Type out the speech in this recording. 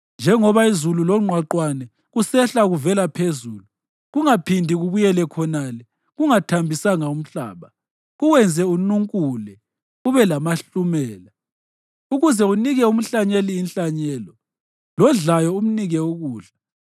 Njengoba izulu longqwaqwane kusehla kuvela phezulu, kungaphindi kubuyele khonale kungathambisanga umhlaba kuwenze ununkule ube lamahlumela, ukuze unike umhlanyeli inhlanyelo, lodlayo umnike ukudla,